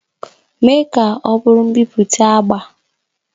Mee ka ọ bụrụ mbipụta agba!